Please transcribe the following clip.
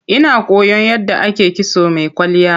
Ina koyan yadda ake kitso mai kwalliya.